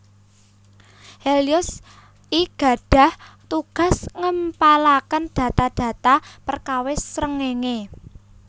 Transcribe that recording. Helios I gadhah tugas ngempalaken data data perkawis srengéngé